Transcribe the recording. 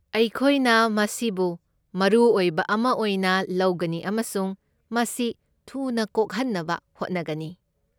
ꯑꯩꯈꯣꯏꯅ ꯃꯁꯤꯕꯨ ꯃꯔꯨ ꯑꯣꯏꯕ ꯑꯃ ꯑꯣꯏꯅ ꯂꯧꯒꯅꯤ ꯑꯃꯁꯨꯡ ꯃꯁꯤ ꯊꯨꯅ ꯀꯣꯛꯍꯟꯅꯕ ꯍꯣꯠꯅꯒꯅꯤ꯫